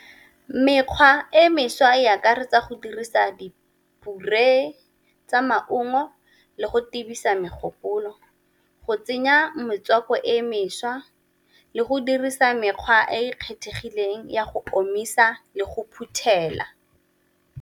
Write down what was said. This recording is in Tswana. Mekgwa e mešwa e akaretsa go dirisa tsa maungo le go megopolo, go tsenya metswako e e mešwa le go dirisa mekgwa e e kgethegileng ya go omisa le go phuthela.